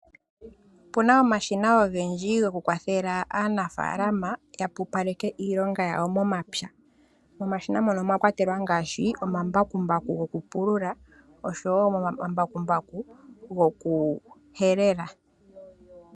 Opu na omashina ogendji goku kwathela aanafaalama ya pupaleke iilonga yawo momapya. Momashina mono omwa kwatelwa ngaashi omambakumbaku goku pulula oshowo omambakumbaku goku helela.